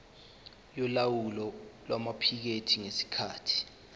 yolawulo lwamaphikethi ngesikhathi